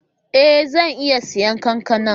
Ee! Zan iya siyan kankana.